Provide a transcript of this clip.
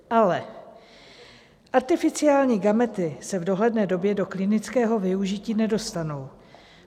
Ale arteficiální gamety se v dohledné době do klinického využití nedostanou.